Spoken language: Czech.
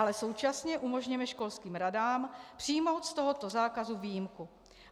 Ale současně umožněme školským radám přijmout z tohoto zákazu výjimku.